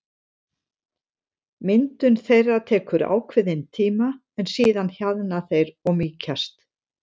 Myndun þeirra tekur ákveðinn tíma en síðan hjaðna þeir eða mýkjast.